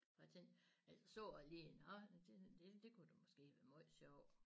For jeg tænkte så lige nåh det det kunne da måske være måj sjov